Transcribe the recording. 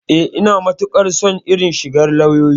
Eh, Ina matukar son irin shigar lauyoyi.